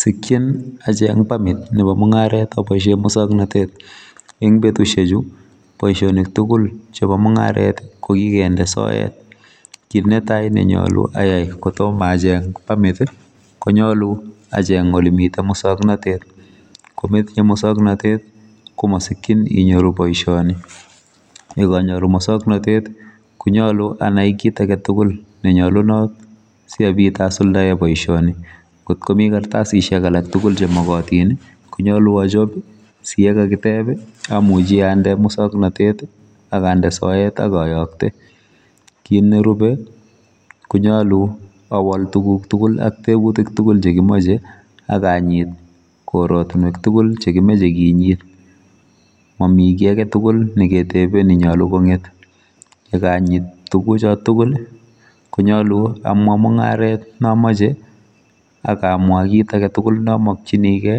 Sikchin acheng pamit nebo mungaret aboisie muswoknatet betusiechu boisionik tugul chebo mungaret kokikende soet kit netai ayai kotomo acheng pamit konyolu acheng olemite muswoknatet kometinye moswoknatet komasikchin inyoru boisioni yekanyoru moswoknatet konyalu anai kit aketugul nenyalunot sikobit asuldae boisioni kotko mi kartasisiek aketugul chemogotin konyalu achop siyekakitep amuchi ande muswoknatet akande soet akayakte kit nerube konyalu awol tuguk tugul aktebutik tugul chekimoche akanyit koratunwek tugul chemoche kinyit mamigi aketugul neketebe nenyalu konget yekanyit tuchotok tugul konyalu amwa mungaret neamoche akamwa kit aketugul neamokee